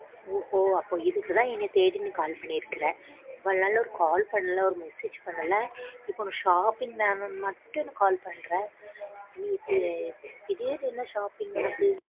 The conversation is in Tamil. ஓஹோ அப்போ இதுக்கு தான் என்னை தேடி நீ call பண்ணிருக்க இவ்ளோ நாள் ஒரு call பண்ணல ஒரு message பண்ணல இப்போ shopping வேணும்னு மட்டும் call பண்ற. இது திடீர்னு என்ன shopping உனக்கு?